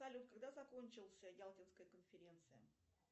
салют когда закончился ялтинская конференция